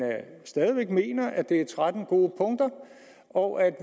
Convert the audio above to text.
stadig væk at det er tretten gode punkter og at